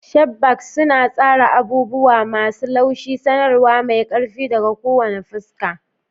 Sharp bangs suna tsara abubuwa masu laushi, sanarwa mai ƙarfi daga kowane fuska.